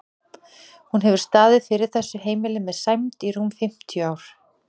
Hún hefur staðið fyrir þessu heimili með sæmd í rúm fimmtíu ár.